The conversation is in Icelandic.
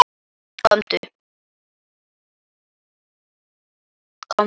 Komdu